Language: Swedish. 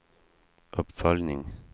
uppföljning